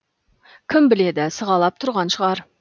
кім біледі сығалап тұрған шығар